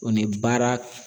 O ni baara.